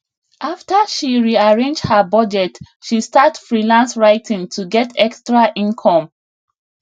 after she rearrange her budget she start freelance writing to get extra income